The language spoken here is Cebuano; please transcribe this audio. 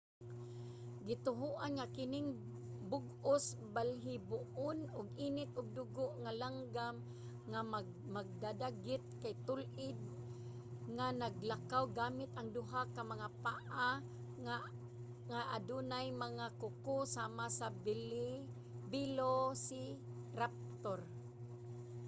gituohan nga kining bug-os balhiboon ug init og dugo nga langgam nga mandadagit kay tul-id nga naglakaw gamit ang duha ka mga paa nga adunay mga kuko sama sa velociraptor